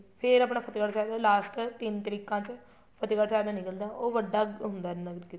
ਫ਼ੇਰ ਆਪਣਾ ਫਤਿਹਗੜ੍ਹ ਸਾਹਿਬ last ਤਿੰਨ ਤਰੀਕਾਂ ਚ ਫਤਿਹਗੜ੍ਹ ਸਾਹਿਬ ਦਾ ਨਿੱਕਲਦਾ ਹੈ ਉਹ ਵੱਡਾ ਹੁੰਦਾ ਹੈ ਨਗਰ ਕੀਰਤਨ